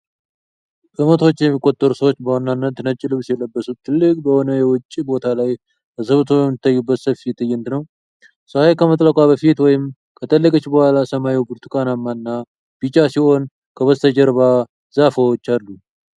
ከመቶዎች የሚቆጠሩ ሰዎች በዋናነት ነጭ ልብስ የለበሱት ትልቅ በሆነ የውጪ ቦታ ላይ ተሰብስበው የሚታዩበት ሰፊ ትዕይንት ነው። ፀሐይ ከመጥለቋ በፊት ወይም ከጠለቀች በኋላ ሰማዩ ብርቱካናማ እና ቢጫ ሲሆን ከበስተጀርባ ዛፎች አሉ።